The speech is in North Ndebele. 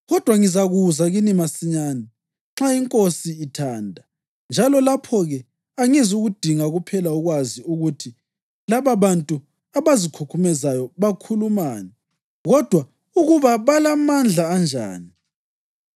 Kodwa ngizakuza kini masinyane, nxa iNkosi ithanda, njalo lapho-ke angizukudinga kuphela ukwazi ukuthi lababantu abazikhukhumezayo bakhulumani, kodwa ukuba balamandla anjani.